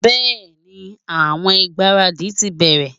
bẹẹni, awọn igbaradi ti bẹrẹ